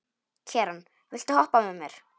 Keran, viltu hoppa með mér?